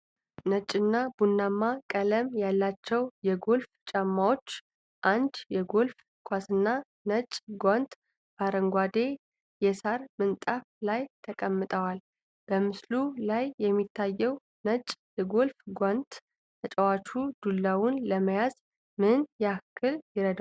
ነጭና ቡናማ ቀለም ያላቸው የጎልፍ ጫማዎች፣ አንድ የጎልፍ ኳስና ነጭ ጓንት በአረንጓዴ የሣር ምንጣፍ ላይ ተቀምጠዋል። በምስሉ ላይ የሚታየው ነጭ የጎልፍ ጓንት ተጫዋቹ ዱላውን ለመያዝ ምን ያህል ይረዳል?